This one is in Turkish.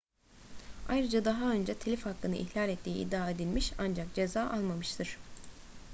ayrıca daha önce telif hakkını ihlal ettiği iddia edilmiş ancak ceza almamıştır